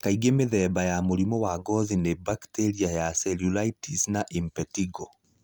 Kaingĩ mithemba ya mũrimũ wa gothi nĩ bacteria ya Cellulitis na Impetigo.